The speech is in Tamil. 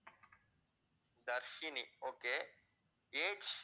Dharshini okay, age